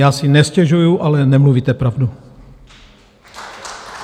Já si nestěžuji, ale nemluvíte pravdu.